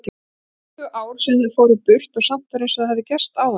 Tuttugu ár síðan þau fóru burt og samt var einsog það hefði gerst áðan.